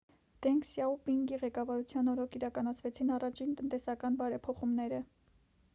դենգ սյաոպինգի ղեկավարության օրոք իրականացվեցին առաջին տնտեսական բարեփոխումները